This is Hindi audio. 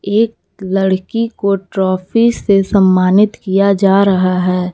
एक लड़की को ट्रॉफी से सम्मानित किया जा रहा है।